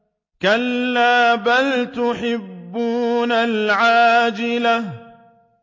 كَلَّا بَلْ تُحِبُّونَ الْعَاجِلَةَ